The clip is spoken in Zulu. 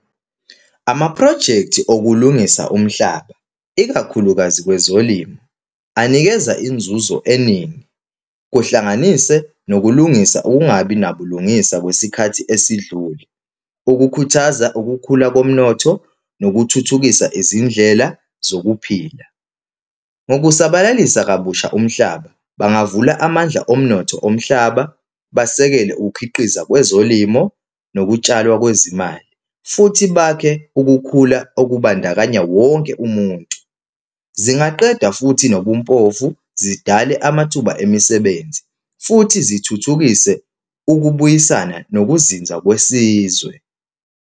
Amaphrojekthi okulungisa umhlaba, ikakhulukazi kwezolimo, anikeza inzuzo eningi, kuhlanganise nokulungisa ukungabi nabulungisa kwesikhathi esidlule, ukukhuthaza kokukhula komnotho, nokuthuthukisa izindlela zokuphila. Ngokusabalalisa kabusha umhlaba, bangavula amandla omnotho omhlaba, basekele ukukhiqiza kwezolimo nokutshalwa kwezimali. Futhi bakhe ukukhula okubandakanya wonke umuntu. Zingaqeda futhi nobumpofu, zidale amathuba emisebenzi, futhi zithuthukise ukubuyisana nokuzinza kwesizwe.